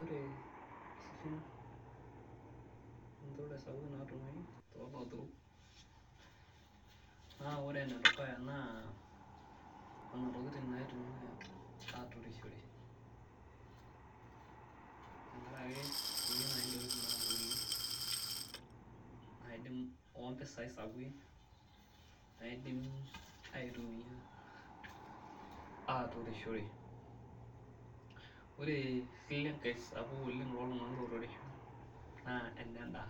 Ore isilen natumoi tolaturok na ore enedukuya na nonatokitin naitumia aturoshore tenkaraki keyieu nai ntokitin nabolie naji ompisai sapukin naidim aitumia aturishore, ore esile nkae sapuk toltunganak oturisho na enendaa